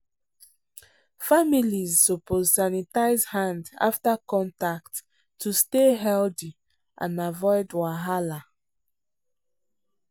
families suppose sanitize hand after contact to stay healthy and avoid wahala.